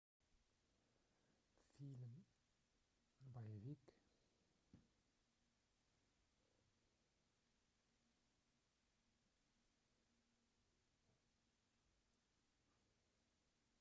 фильм боевик